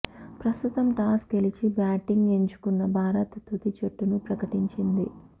ప్రస్తుతం టాస్ గెలిచి బ్యాటింగ్ ఎంచుకున్న భారత్ తుది జట్టును ప్రకటించింది